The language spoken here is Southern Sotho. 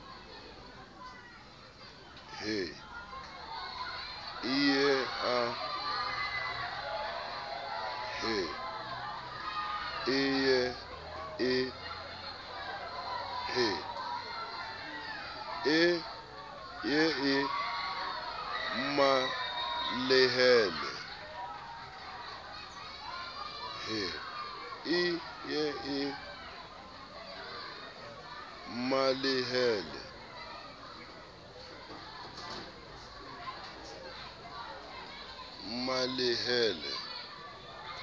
he e ye e mmalehele